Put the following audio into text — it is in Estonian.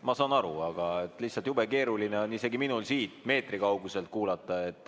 Ma saan aru, aga lihtsalt jube keeruline on isegi minul siit meetri kauguselt kuulata.